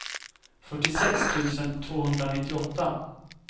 fyrtiosex tusen tvåhundranittioåtta